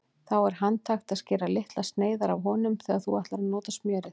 Þá er handhægt að skera litlar sneiðar af honum þegar þú ætlar að nota smjörið.